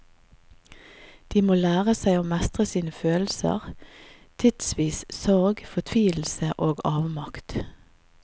De må lære seg å mestre sine følelser, tidvis sorg, fortvilelse og avmakt.